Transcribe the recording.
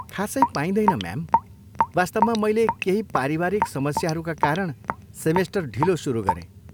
खासै पाइँदैन, म्याम, वास्तवमा, मैले केही पारिवारिक समस्याहरूका कारण सेमेस्टर ढिलो सुरु गरेँ।